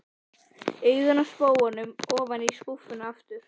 Augun af spóanum ofan í skúffuna aftur.